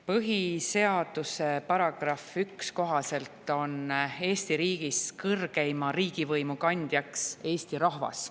Põhiseaduse § 1 kohaselt on Eesti riigis kõrgeima riigivõimu kandja Eesti rahvas.